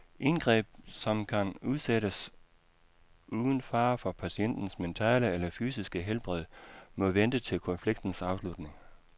Indgreb, som kan udsættes uden fare for patientens mentale eller fysiske helbred, må vente til konfliktens afslutning.